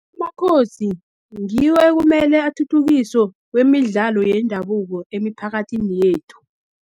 Amakhosi ngiwo ekumele athuthukiso kwemidlalo yendabuko, emiphakathini yethu.